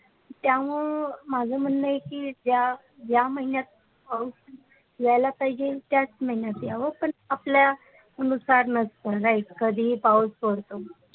त्यामुन मजे म्णने हे की ज्या ज्या महिनात पाऊस होयाला पाहिचे त्याच महिन्यात हॉव्यात पण आपपल्या कधीहि पाऊस पडतो.